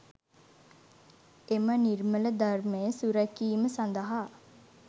එම නිර්මල ධර්මය සුරැකීම සඳහා